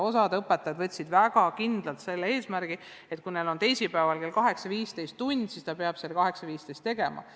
Osa õpetajaid võttis kindlalt eesmärgiks, et kui neil on teisipäeval kell 8.15 tund, siis nad peavadki selle 8.15 tegema.